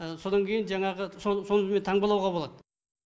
содан кейін жаңағы сол сол күйі таңбалауға болады